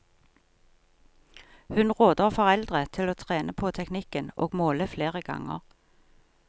Hun råder foreldre til å trene på teknikken og måle flere ganger.